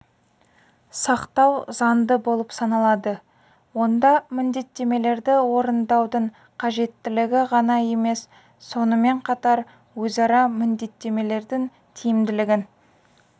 сақтау заңды болып саналады онда міндеттемелерді орындаудың қажеттілігі ғана емес сонымен қатар өзара міндеттемелердің тиімділігін